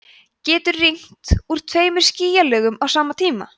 getur rignt úr tveimur skýjalögum á sama tíma